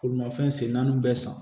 Bolimafɛn sen naani bɛɛ san